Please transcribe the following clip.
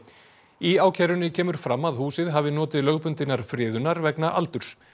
í ákærunni kemur fram að húsið hafi notið lögbundinnar friðunar vegna aldurs